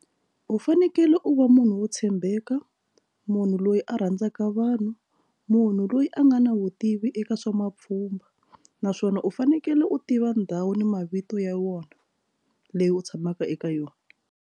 U fanekele u va munhu wo tshembeka munhu loyi a rhandzaka vanhu munhu loyi a nga na vutivi eka swa mapfhumba naswona u fanekele u tiva ndhawu ni mavito ya wona leyi u tshamaka eka yona.